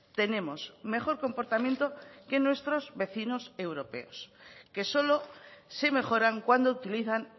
tenemos mejor comportamiento que nuestros vecinos europeos que solo se mejoran cuando utilizan